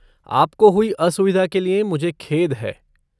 आपको हुई असुविधा के लिए मुझे खेद है।